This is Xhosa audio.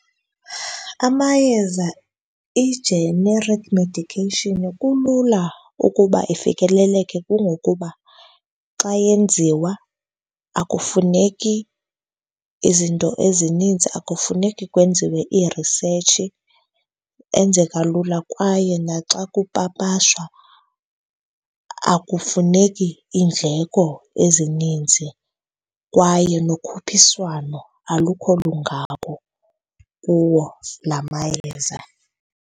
Amayeza, i-generic medication, kulula ukuba ifikeleleke kungokuba xa enziwa akufuneki izinto ezininzi, akufuneki kwenziwe ii-research, enzeka lula. Kwaye naxa kupapashwa akufuneki iindleko ezininzi kwaye nokhuphiswano alukho lungako kuwo la mayeza.